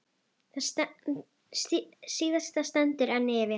Það síðasta stendur enn yfir.